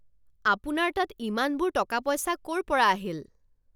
আপোনাৰ তাত ইমানবোৰ টকা পইচা ক'ৰ পৰা আহিল?